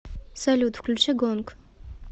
салют включи гонг